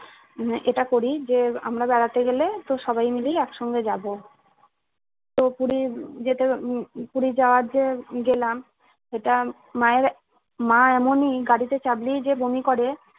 উহ এটা করি যে আমরা বেড়াতে গেলে তো সবাই মিলে একসঙ্গে যাবো। তো পুরি যেতে উম উম পুরি যাওয়ার যে গেলাম এটা মায়ের মা এমনই গাড়িতে চাপলেই যে বমি করে।